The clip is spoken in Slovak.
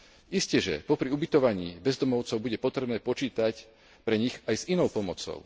Isteže popri ubytovaní bezdomovcov bude potrebné počítať pre nich aj s inou pomocou.